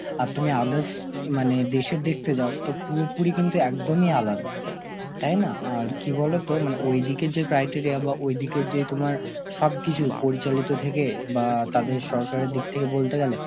আর তুমি others এ মানে দেশের দেখতে যাও তো পুরোপুরি কিন্তু একদমই আলাদা, তাই না? আর কি বলতো মানে ওইদিকের যেই criteria বা ওই দিকের যে তোমার সবকিছু, পরিচালিত থেকে বা তাদের সরকারের দিক থেকে বলতে গেলে,